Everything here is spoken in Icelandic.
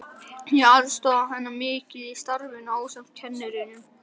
Ég aðstoðaði hana mikið í starfinu ásamt kennurunum